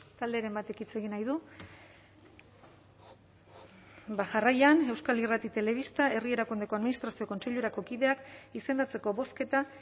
talderen batek hitz egin nahi du bada jarraian euskal irrati telebista herri erakundeko administrazio kontseilurako kideak izendatzeko bozketa